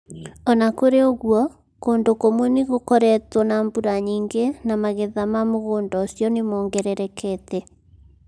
O na kũrĩ ũguo, kũndũ kũmwe nĩ gũkoretwo na mbura nyingĩ na magetha ma mũgũnda ũcio nĩ mongererekete.